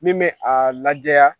Min bɛ a lajɛya